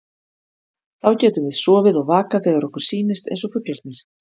Þá getum við sofið og vakað þegar okkur sýnist, eins og fuglarnir.